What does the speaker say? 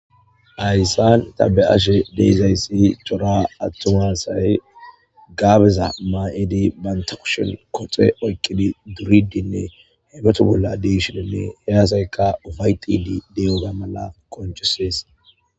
Hayssan tha be7ashe de7izayssi cora aththuma asay gaabeza may7idi banththa kushen koxe oyqqidi duriiddinne hebetho bolla diishiininne he asaykka ufayththiiddi de7iyoogaa mala qonccissees.